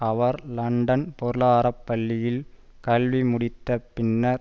அவர் London பொருளாதார பள்ளியில் கல்வி முடித்த பின்னர்